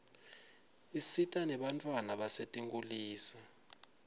isita nebantfwana basetinkhulisa